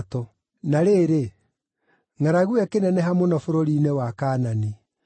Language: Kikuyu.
Na rĩrĩ, ngʼaragu ĩyo ĩkĩneneha mũno bũrũri-inĩ wa Kaanani.